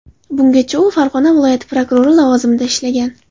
Bungacha u Farg‘ona viloyati prokurori lavozimida ishlagan.